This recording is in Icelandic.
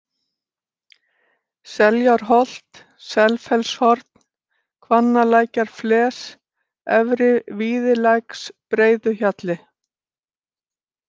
Seljárholt, Selfellshorn, Hvannalækjarfles, Efri-Víðilæksbreiðuhjalli